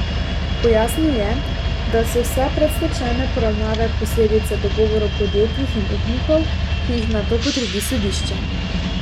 Pojasnil je, da so vse predstečajne poravnave posledica dogovorov podjetjih in upnikov, ki jih nato potrdi sodišče.